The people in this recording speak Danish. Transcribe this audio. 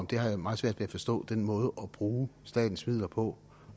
at jeg har meget svært ved at forstå den måde at bruge statens midler på